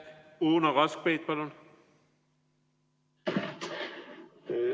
Uno Kaskpeit, palun!